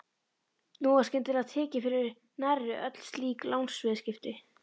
Nú var skyndilega tekið fyrir nærri öll slík lánsviðskipti.